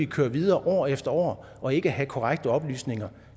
køre videre år efter år og ikke have korrekte oplysninger